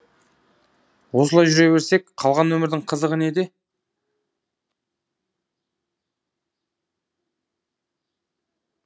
осылай жүре берсек қалған өмірдің қызығы неде